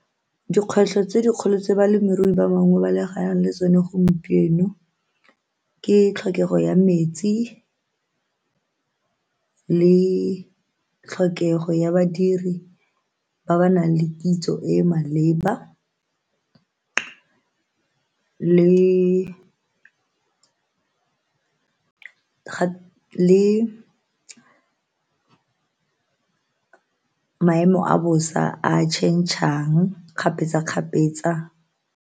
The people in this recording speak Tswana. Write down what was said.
Dikgwetlho tse dikgolo tse balemirui ba bangwe ba lebagane le tsone gompieno ke tlhokego ya metsi le tlhokego ya badiri ba ba nang le kitso e e maleba le le maemo a bosa a change-ang kgapetsa-kgapetsa.